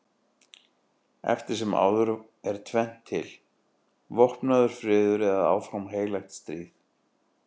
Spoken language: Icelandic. Eftir sem áður er tvennt til: vopnaður friður eða áfram heilagt stríð.